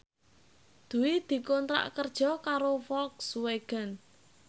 Dwi dikontrak kerja karo Volkswagen